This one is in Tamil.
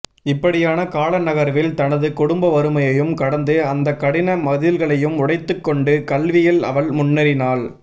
இப்படியான கால நகர்வில் தனது குடும்ப வறுமையையும் கடந்து அந்தக் கடின மதில்களையும் உடைத்துக் கொண்டு கல்வியில் அவள் முன்னேறினாள்